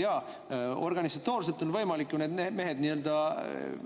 Jaa, organisatoorselt on võimalik need mehed